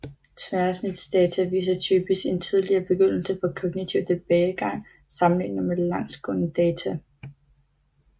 Tværsnitsdata viser typisk en tidligere begyndelse på kognitiv tilbagegang sammenlignet med langsgående data